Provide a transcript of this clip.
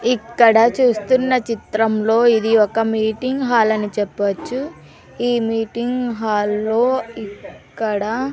ఇక్కడ చూస్తున్న చిత్రంలో ఇది ఒక మీటింగ్ హాల్ అని చెప్పుచ్చు ఈ మీటింగ్ హాల్లో ఇక్కడ--